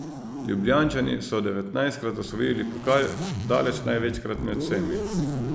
Ljubljančani so devetnajstkrat osvojili pokal, daleč največkrat med vsemi.